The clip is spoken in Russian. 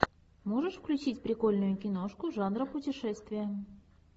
можешь включить прикольную киношку жанра путешествия